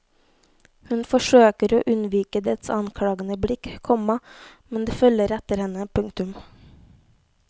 Hun forsøker å unnvike dets anklagende blikk, komma men det følger etter henne. punktum